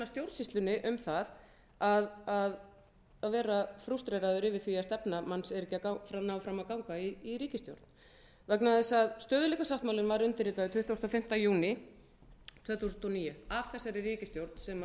stjórnsýslunni um það að vera frústreraður yfir því að stefna manns er ekki að ná fram að ganga í ríkisstjórn vegna þess að stöðugleikasáttmálinn var undirritaður tuttugasta og fimmta júní tvö þúsund og níu af þessari ríkisstjórn sem